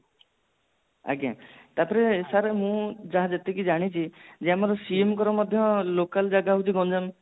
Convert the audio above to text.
ଆଜ୍ଞା ତାପରେ sir ମୁଁ ଯାହା ଯେତିକି ଜାଣିଛି ଯେ ଆମର ସିଏମଙ୍କର ମଧ୍ୟ local ଜାଗା ହୋଉଛି ଗଞ୍ଜାମ